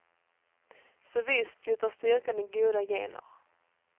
Så visst sitter styrkan i goda gener.